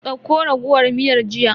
Dauko raguwar miyar jiya.